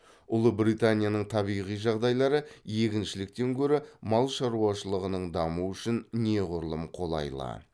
ұлыбританияның табиғи жағдайлары егіншіліктен гөрі мал шаруашылығының дамуы үшін неғұрлым қолайлы